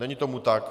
Není tomu tak.